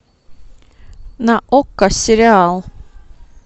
на окко сериал